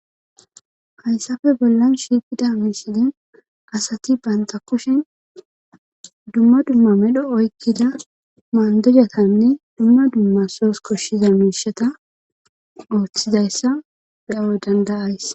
hayssafe bollan shiiqida misilen asati banta kushen dumma dumma medho oykkida maandujatanne dumma dumma soos koshshiza miishata ooththizayssa beyo dandayays